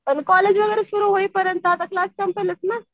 पण कॉलेज वगैरे सुरु होईपर्यंत आता क्लास